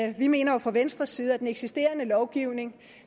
jo mener fra venstres side at den eksisterende lovgivning